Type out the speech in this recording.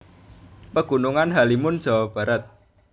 Pegunungan Halimun Jawa Barat